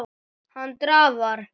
Hann drafar.